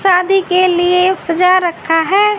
शादी के लिए सजा रखा है।